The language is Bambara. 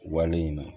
Wale in na